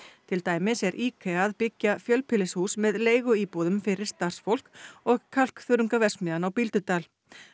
til dæmis er IKEA að byggja fjölbýlishús með leiguíbúðum fyrir starfsfólk og kalkþörungaverksmiðjan á Bíldudal